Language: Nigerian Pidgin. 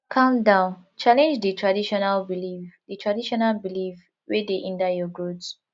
calm down challenge di traditional belief di traditional belief wey dey hinder your growth